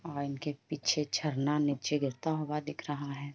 औ इनके पीछे झरना निचे गिरता हुआ दिख रहा है।